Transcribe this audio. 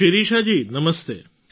Shirishaji Namaste